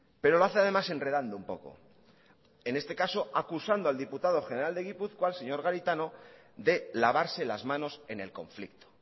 pero lo hace además enredando un poco en este caso acusando al diputado general de gipuzkoa el señor garitano de lavarse las manos en el conflicto